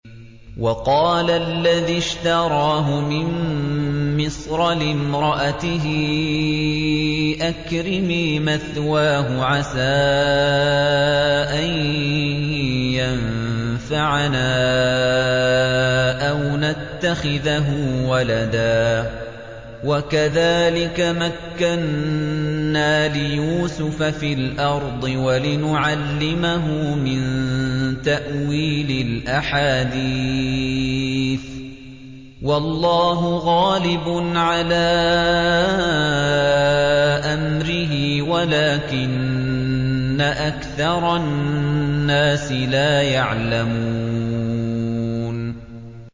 وَقَالَ الَّذِي اشْتَرَاهُ مِن مِّصْرَ لِامْرَأَتِهِ أَكْرِمِي مَثْوَاهُ عَسَىٰ أَن يَنفَعَنَا أَوْ نَتَّخِذَهُ وَلَدًا ۚ وَكَذَٰلِكَ مَكَّنَّا لِيُوسُفَ فِي الْأَرْضِ وَلِنُعَلِّمَهُ مِن تَأْوِيلِ الْأَحَادِيثِ ۚ وَاللَّهُ غَالِبٌ عَلَىٰ أَمْرِهِ وَلَٰكِنَّ أَكْثَرَ النَّاسِ لَا يَعْلَمُونَ